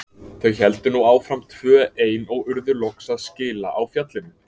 Þau héldu nú áfram tvö ein og urðu loks aðskila á fjallinu.